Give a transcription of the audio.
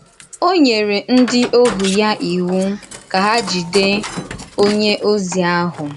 Ó nyere ndí òhù ya ìwu ka hà jìdè onye ozi ahụ.